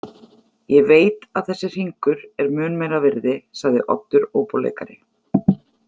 Ég veit að þessi hringur er mun meira virði, sagði Oddur óbóleikari.